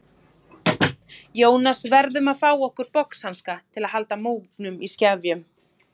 Jónas verðum að fá okkur boxhanska til að halda múgnum í skefjum.